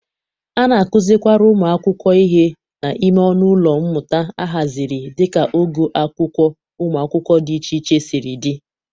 A na-akụzịkwara ụmụ akwụkwọ ihe n'ime ọnụ ụlọ mmụta ahazịrị dịka ogo akwụkwọ ụmụ akwụkwọ dị iche iche siri dị.